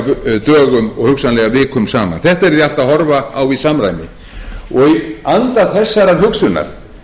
iðulega dögum og hugsanlega vikum saman þetta yrði allt að horfa á í samræmi í anda þessarar hugsunar